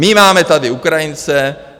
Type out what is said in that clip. My tady máme Ukrajince.